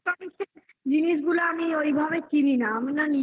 electronic জিনিসগুলো আমি ওইভাবে কিনি না. আমি না নিজের